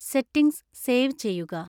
settings save ചെയ്യുക